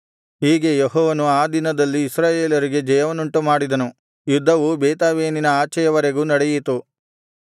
ಹೀಗೆ ಯೆಹೋವನು ಆ ದಿನದಲ್ಲಿ ಇಸ್ರಾಯೇಲರಿಗೆ ಜಯವನ್ನುಂಟುಮಾಡಿದನು ಯುದ್ಧವು ಬೇತಾವೆನಿನ ಆಚೆಯವರೆಗೂ ನಡೆಯಿತು